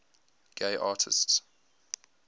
gay artists